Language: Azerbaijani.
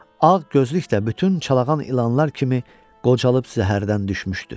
Ağ gözlüklə bütün çalağan ilanlar kimi qocalıb zəhərdən düşmüşdü.